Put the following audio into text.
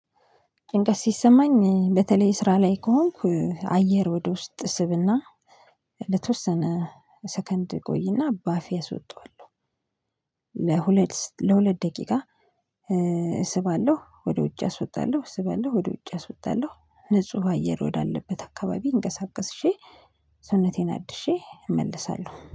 ጭንቀት ሲሰማኝ በተለይ ስራ ላይ ከሆንኩ አየር ወደ ውስጥ እስብና ለተወሰነ ሰከንድ ቆይና ባፌ አስወጣዋለሁ ለሁለት ለሁለት ደቂቃ እስባለሁ ወደ ውጭ አስወጣለሁ ስባለሁ ወደ ውጭ አስወጣለሁ ንጹህ አየር ወዳለበት አካባቢ እንቀሳቅሼ ሰውነቴን አድሼ እመልሳለሁ።